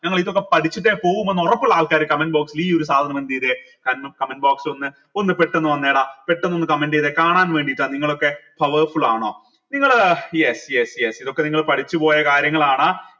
നിങ്ങൾ ഇതൊക്കെ പഠിച്ചിട്ടേ പോവുമെന്ന് ഉറപ്പുള്ള ആൾക്കാർ comment box ൽ ഈ ഒരു സാധനം എന്തേയ്തെ കാരണം comment box ഒന്ന് ഒന്ന് പെട്ടെന്ന് വന്നെടാ പെട്ടെന്ന് ഒന്ന് comment എയ്‌തെ കാണാൻ വേണ്ടീട്ടാ നിങ്ങളൊക്കെ powerful ആണോ നിങ്ങൾ yes yes yes ഇതൊക്കെ നിങ്ങൾ പഠിച്ചുപോയ കാര്യങ്ങളാണ്